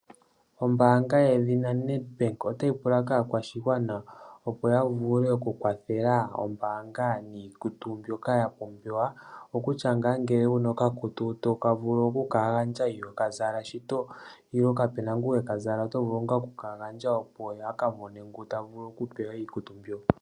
Ombaanga yedhina NEDBANK otayi pula kaakwashigwana opo ya vule okukwathela ombaanga niikutu mbyoka ya pumbiwa, kutya ngele owuna okakutu tovulu okuka gandja ihoka zala shito nenege kapuna ngoka heka zala oto vulu okuka gandja opo ya kamone ngoka tavulu okupewa iikutu mbyoka.